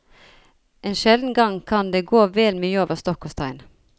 En sjelden gang kan det gå vel mye over stokk og stein.